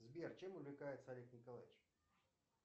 сбер чем увлекается олег николаевич